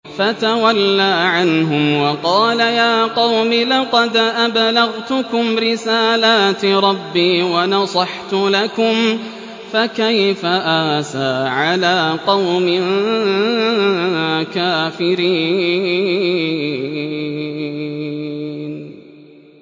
فَتَوَلَّىٰ عَنْهُمْ وَقَالَ يَا قَوْمِ لَقَدْ أَبْلَغْتُكُمْ رِسَالَاتِ رَبِّي وَنَصَحْتُ لَكُمْ ۖ فَكَيْفَ آسَىٰ عَلَىٰ قَوْمٍ كَافِرِينَ